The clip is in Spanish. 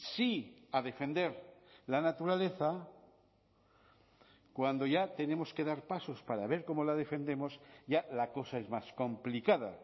sí a defender la naturaleza cuando ya tenemos que dar pasos para ver cómo la defendemos ya la cosa es más complicada